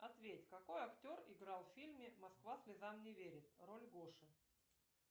ответь какой актер играл в фильме москва слезам не верит роль гоши